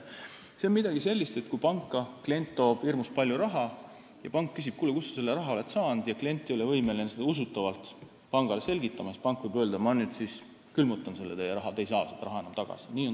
See on midagi sellist, et kui klient toob panka hirmus palju raha ja pank küsib, et kuule, kust sa selle raha said, aga klient ei ole võimeline seda usutavalt selgitama, siis pank võib öelda, et ta külmutab selle raha ja klient seda enam tagasi ei saa.